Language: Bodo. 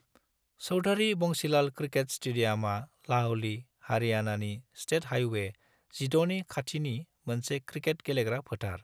चौधारी बंसीलाल क्रिकेट स्टेडियामआ लाहली, हारियाणानि स्टेट हाईवे 16 नि खाथिनि मोनसे क्रिकेट गेलेग्रा फोथार।